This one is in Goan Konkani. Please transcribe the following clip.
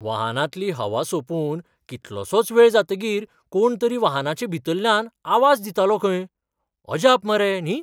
वाहनांतली हवा सोंपून कितलोसोच वेळ जातकीर कोण तरी वाहनाचे भितरल्यान आवाज दितालो खंय. अजाप मरे, न्ही?